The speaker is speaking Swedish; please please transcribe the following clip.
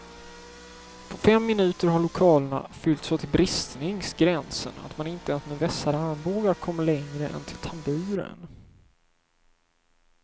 På fem minuter har lokalerna fyllts så till bristningsgränsen att man inte ens med vässade armbågar kommer längre än till tamburen.